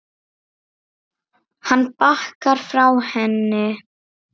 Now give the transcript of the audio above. Hann bakkar frá henni.